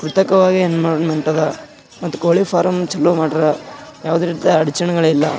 ಕೃತಕವಾಗಿ ಎನ್ವಿರಾನ್ಮೆಂಟ್ ಅದ ಮತ್ತ್ ಕೋಳಿ ಫಾರ್ಮ್ ಚಲೋ ಮಾಡ್ಯಾರ ಯಾವುದೇ ರೀತಿ ಅಡಚಣೆಗಳಿಲ್ಲ.